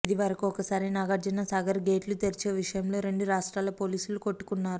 ఇదివరకు ఒకసారి నాగార్జున సాగర్ గేట్లు తెరిచే విషయంలో రెండు రాష్ట్రాల పోలీసులు కొట్టుకొన్నారు